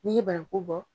N'i ye bananku bɔ